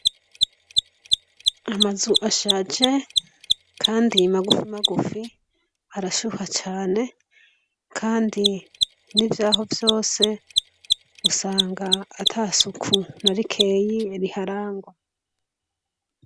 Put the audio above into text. Amazu ashaje kandi magufi magufi, arashuha cane, kandi n'ivyaho vyose usanga ata suku na rikeyi riharangwa.